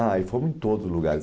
Ah, fomos em todos os lugares.